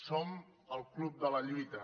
som el club de la lluita